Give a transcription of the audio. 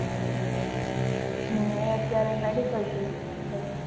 હમ અત્યારે એ medical field માં છે.